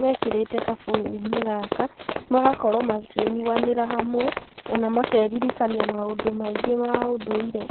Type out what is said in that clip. mekĩrĩte gabũyũ-inĩ gaka, magakorwo makĩnyuanĩra hamwe, ona makeririkania maũndũ maingĩ ma ũndũire.